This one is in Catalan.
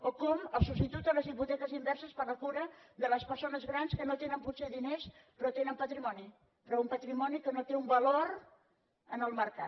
o com el substitut de les hipoteques inverses per la cura de les persones grans que no tenen potser diners però tenen patrimoni però un patrimoni que no té un valor en el mercat